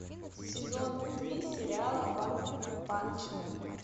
сезон три сериала ванпанчмен